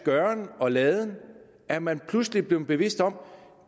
gøren og laden er man pludselig blevet bevidst om